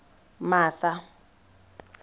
martha